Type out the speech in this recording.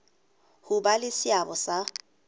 ho ba le seabo sa